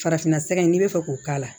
Farafinna sira n'i bɛ fɛ k'o k'a la